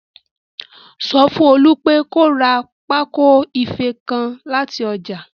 Sọ fún Olú pé kó ra pákó ìfé nǹkan láti ọjà